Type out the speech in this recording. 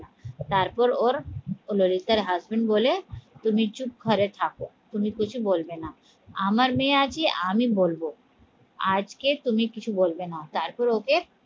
তারপর ওর ললিতার husband বলে তুমি চুপ ঘরে থাকো তুমি কিছু বলবে না আমার মেয়ে আছে আমি বলবো আজকে তুমি কিছু বলবে না তারপর ওকে